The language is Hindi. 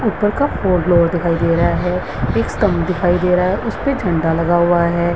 ऊपर का दिखाई दे रहा है एक स्टांप दिखाई दे रहा है उसपे झंडा लगा हुआ है ।